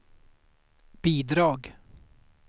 bidrag